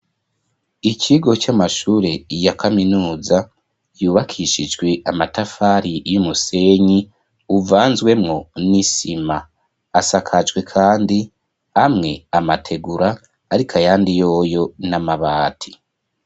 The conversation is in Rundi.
Ikigo c'amashure ya kaminuza yubakishijwe amatafari y'umusenyi uvanzwemo n'isima asakajwe kandi amwe n'amategura ariko ayandi yoyo n'amabati.